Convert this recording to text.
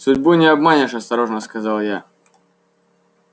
судьбу не обманешь осторожно сказал я